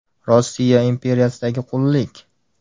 Rossiya imperiyasidagi qullik.